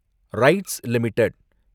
rights limited